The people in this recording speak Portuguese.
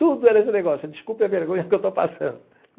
Tudo era esse negócio, desculpe a vergonha que eu estou passando.